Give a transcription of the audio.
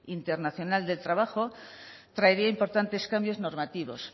internacional del trabajo traería importantes cambios normativos